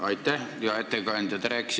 Aitäh, hea ettekandja!